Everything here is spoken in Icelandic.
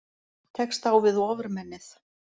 Tekst á við Ofurmennið